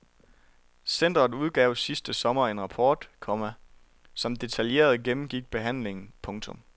Centret udgav sidste sommer en rapport, komma som detaljeret gennemgik behandlingen. punktum